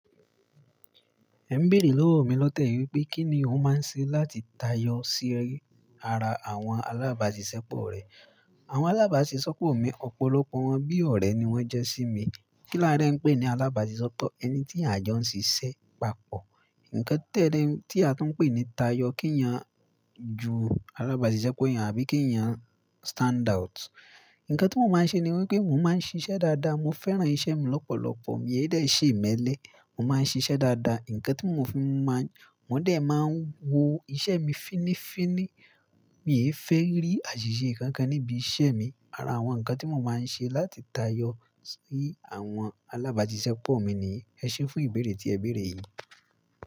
Ẹ ń béèrè lọ́wọ́ mi lọ́ tẹ̀yì wípé kí ni mo máa ń ṣe láti tayọ sí ara àwọn alábàáṣiṣẹ́ pọ̀ rẹ. Àwọn alábàáṣiṣẹ́ pọ̀ mi, ọ̀pọ̀lọpọ̀ wọn bí ọ̀rẹ́ ni wón jẹ́ sí mi. Kí lá dé ń pè ní alábàáṣiṣẹ́, ẹni tí àjọ ń ṣiṣẹ́ papọ̀. Nǹkan tẹ̀lé tí a tún ń pè ní tayọ kí èèyàn ju alábàáṣiṣẹ́pọ̀ eeyan àbí kí èèyàn standout. Nǹkan tí mo máa ń ṣe ni wípé mo máa ń ṣiṣẹ́ dáadáa, mo fẹ́ràn iṣẹ́ mi lọ́pọ̀lọpọ̀, mo yẹ dẹ̀ n ṣè imélé, mo máa ń ṣiṣẹ́ dáadáa. Nǹkan tí mo fi máa ń, wọ́n dẹ̀ máa ń wo iṣẹ́ mi fínní fínní. Mi i fé rí àṣìṣe kankan níbi iṣẹ́ mi. Ara àwọn nǹkan tí mo máa ń ṣe láti tayọ sí àwọn alábàáṣiṣẹ́pọ̀ mi ni yii. Ẹ ṣé fún ìbéèrè tí ẹ béèrè yìí.